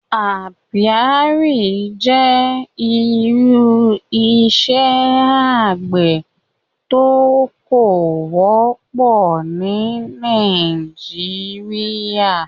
Àpíàrí jẹ́ irú ìṣẹ̀ àgbẹ̀ tó kò wọ̀pọ ni Nàìjíríà